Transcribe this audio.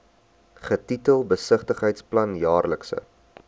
getitel besigheidsplan jaarlikse